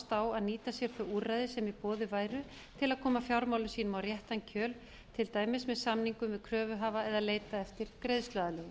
á að nýta sér þau úrræði sem í boði væru til að koma fjármálum sínum á réttan kjöl til dæmis með samningum við kröfuhafa eða að leita eftir greiðsluaðlögun